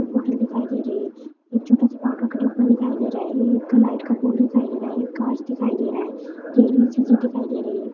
एक बोतल दिखाई दे रही है एक छोटासा पावडर का डब्बा दिखाई दे रहा है लाइट का बोर्ड दिखाई दे रहा है। एक काँच दिखाई दे रहा है चिजे दिखाई दे रही है।